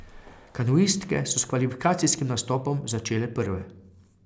Kanuistke so s kvalifikacijskim nastopom začele prve.